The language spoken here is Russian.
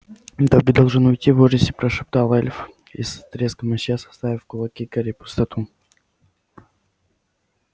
добби должен уйти в ужасе прошептал эльф и с треском исчез оставив в кулаке гарри пустоту